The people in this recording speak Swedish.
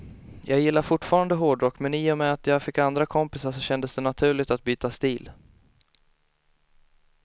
Jag gillar fortfarande hårdrock, men i och med att jag fick andra kompisar så kändes det naturligt att byta stil.